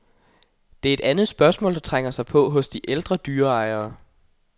Det er et andet spørgsmål, der trænger sig på hos de ældre dyreejere.